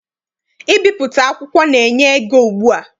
Ibipụta akwụkwọ na- enye ego ugbua.